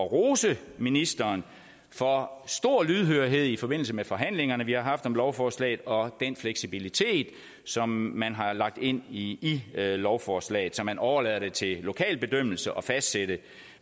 at rose ministeren for stor lydhørhed i forbindelse med forhandlingerne vi har haft om lovforslaget og den fleksibilitet som man har lagt ind i lovforslaget så man overlader det til lokal bedømmelse at fastsætte